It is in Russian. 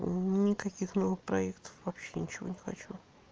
никаких новых проектов вообще ничего не хочу